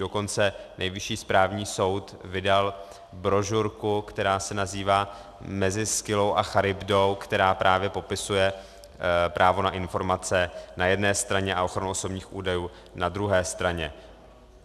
Dokonce Nejvyšší správní soud vydal brožurku, která se nazývá Mezi Skyllou a Charybdou, která právě popisuje právo na informace na jedné straně a ochranu osobních údajů na druhé straně.